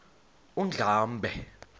undlambe